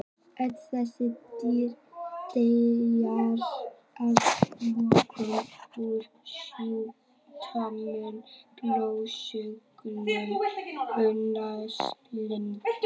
Öll þessi dýr deyja að lokum úr sjúkdómnum að blóðsugunum undanskildum.